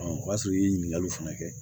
o y'a sɔrɔ i ye ɲininkali fana kɛ